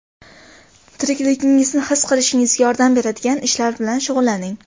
Tirikligingizni his qilishingizga yordam beradigan ishlar bilan shug‘ullaning.